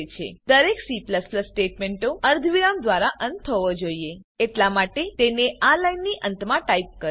દરેક C સ્ટેટમેંટનો અર્ધવિરામ દ્વારા અંત થવો જોઈએ એટલા માટે તેને આ લાઈનની અંતમાં ટાઈપ કરો